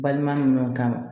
Balima ni ɲɔgɔn kan